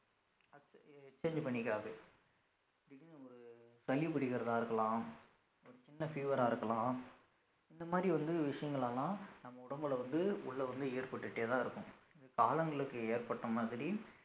அது change பண்ணிக்காது திடிருன்னு ஒரு சளி பிடிக்கிறதா இருக்கலாம் ஒரு சின்ன fever ஆ இருக்கலாம் இந்த மாதிரி வந்து விஷயங்கள் எல்லாம் நம்ம உடம்புல வந்து உள்ள வந்து ஏற்பட்டுட்டேதான் இருக்கும் காலங்களுக்கு ஏற்பட்ட மாதிரி